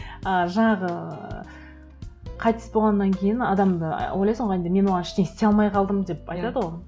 ы жаңағы ыыы қайтыс болғаннан кейін адамды ойлайсың ғой енді мен оған ештеңе істей алмай қалдым деп айтады ғой